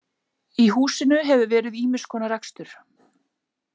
Í húsinu hefur verið ýmis konar rekstur.